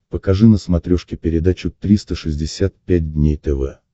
покажи на смотрешке передачу триста шестьдесят пять дней тв